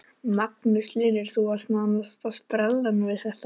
Magnús Hlynur: Þú varst nánast á sprellanum við þetta?